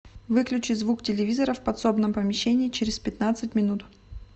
выключи звук телевизора в подсобном помещении через пятнадцать минут